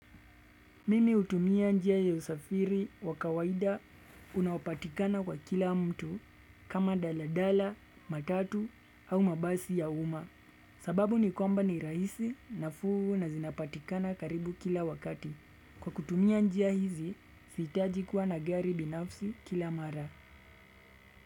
Mimi hutumia njia ya usafiri wa kawaida unaopatikana kwa kila mtu kama daladala, matatu au mabasi ya uma. Sababu ni kwamba ni rahisi nafuu na zinapatikana karibu kila wakati. Kwa kutumia njia hizi, sihitaji kuwa na gari binafsi kila mara.